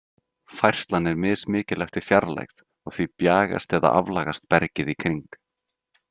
Færslan er mismikil eftir fjarlægð, og því bjagast eða aflagast bergið í kring.